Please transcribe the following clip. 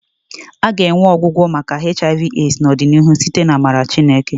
A ga-enwe ọgwụgwọ maka HIV/AIDS n'ọdịnihu site n'amara Chineke